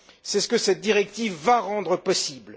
C'est ce que cette directive va rendre possible.